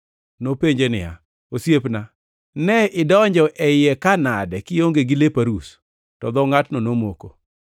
Nopenje ni, ‘Osiepna, ne idonjo e iye ka nade kionge gi lep arus?’ To dho ngʼatno nomoko.